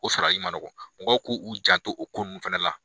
O sarali man nɔgɔ. Mɔgɔw k'u u janto o ko nunnu fɛnɛ la.